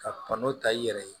Ka n'o ta i yɛrɛ ye